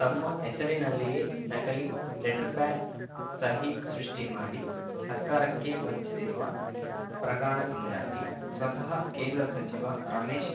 ತಮ್ಮ ಹೆಸರಿನಲ್ಲಿಯೇ ನಕಲಿ ಲೆಟರ್‌ ಪ್ಯಾಡ್‌ ಸಹಿ ಸೃಷ್ಟಿಮಾಡಿ ಸರ್ಕಾರಕ್ಕೆ ವಂಚಿಸಿರುವ ಪ್ರಕರಣದಿಂದಾಗಿ ಸ್ವತಃ ಕೇಂದ್ರ ಸಚಿವ ರಮೇಶ್